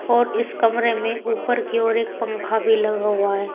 और इस कमरे में ऊपर की ओर एक पंखा भी लगा हुआ है।